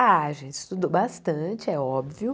Ah a gente estudou bastante, é óbvio.